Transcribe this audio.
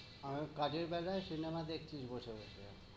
আর কাজের বেলায় cinema দেখতিস বসে বসে।